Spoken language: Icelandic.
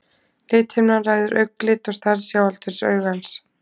lithimnan ræður augnlit og stærð sjáaldurs augans